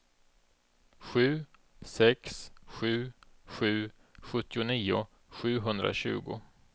sju sex sju sju sjuttionio sjuhundratjugo